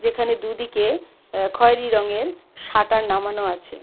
যেখানে দুদিকে আঃ খয়রি রঙের শাটার নামানো আছে.